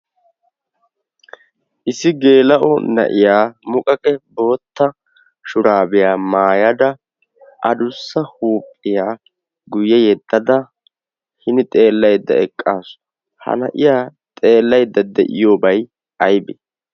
issi geela'o na'iyaa muqaqe bootta shuraabiyaa maayada adussa huuphiyaa guyye yeddada hini xeellaydda eqqaasu ha na'iya xeellaydda de'iyoobai aibi